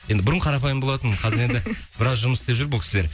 енді бұрын қарапайым болатын қазір енді біраз жұмыс істеп жүр бұл кісілер